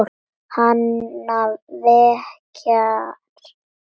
Hana verkjar í legið.